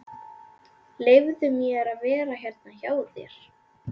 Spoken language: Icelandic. Leyfðu mér að vera hérna hjá þér.